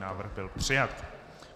Návrh byl přijat.